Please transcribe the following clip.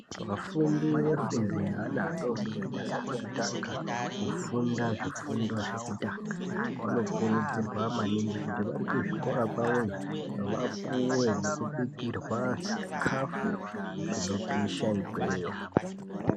Vafundi vefundo yeana adoodori asati vatanga kufunda zvifundo zvekutanga, vanokurudzirwa maningi kuti vari kuzvikora kwavoyo vapuwe nekubikirwa zvikafu zvinopisha ikweyo.